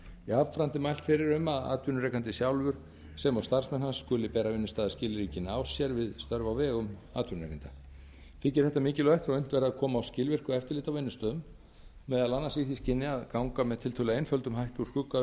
jafnframt er mælt fyrir um að atvinnurekandi sjálfur sem og starfsmenn hans skuli bera vinnustaðaskilríkja á sér við störf á vegum atvinnurekanda þykir þetta mikilvægt svo unnt verði að koma á skilvirku eftirliti á vinnustöðum meðal annars í því skyni að ganga með tiltölulega einföldum hætti úr skugga